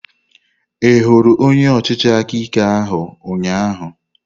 Ị hụrụ onye ọchịchị aka ike ahụ ụnyaahụ?